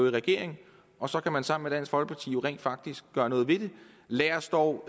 i regering og så kan man sammen med dansk folkeparti rent faktisk gøre noget ved det lad os dog